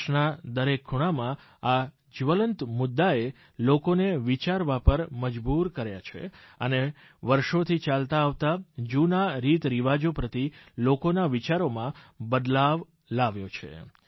દેશના દરેક ખૂણામાં આ જ્વલંત મુદ્દાએ લોકોને વિચારવા કરવાપર મજબૂર કર્યા છે અને વર્ષોથી ચાલતા આવતા જૂના રીતરિવાજો પ્રતિ લોકોના વિચારોમાં બદલાવ લાવ્યો છે